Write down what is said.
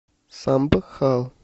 самбхал